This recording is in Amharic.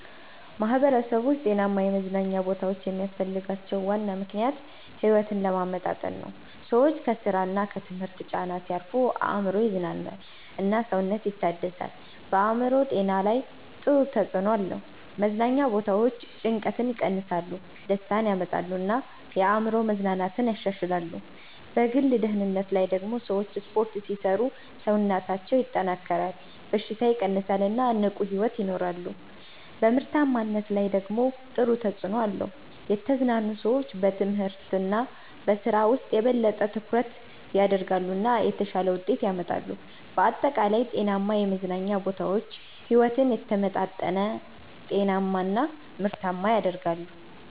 ማህበረሰቦች ጤናማ የመዝናኛ ቦታዎች የሚያስፈልጋቸው ዋና ምክንያት ሕይወትን ለማመጣጠን ነው። ሰዎች ከስራ እና ከትምህርት ጫና ሲያርፉ አእምሮ ይዝናናል እና ሰውነት ይታደሳል። በአእምሮ ጤና ላይ ጥሩ ተጽዕኖ አለው። መዝናኛ ቦታዎች ጭንቀትን ይቀንሳሉ፣ ደስታ ያመጣሉ እና የአእምሮ መዝናናትን ያሻሽላሉ። በግል ደህንነት ላይ ደግሞ ሰዎች ስፖርት ሲሰሩ ሰውነታቸው ይጠናከራል፣ በሽታ ይቀንሳል እና ንቁ ሕይወት ይኖራሉ። በምርታማነት ላይ ደግሞ ጥሩ ተጽዕኖ አለው። የተዝናኑ ሰዎች በትምህርት እና በስራ ውስጥ የበለጠ ትኩረት ያደርጋሉ እና የተሻለ ውጤት ያመጣሉ። በአጠቃላይ ጤናማ የመዝናኛ ቦታዎች ሕይወትን የተመጣጠነ፣ ጤናማ እና ምርታማ ያደርጋሉ።